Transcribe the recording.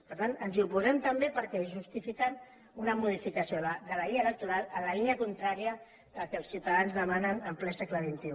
per tant ens hi oposem també perquè justifiquen una modificació de la llei electoral en la línia contrària del que els ciutadans demanen en ple segle xxi